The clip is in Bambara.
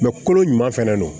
kolo ɲuman fɛnɛ don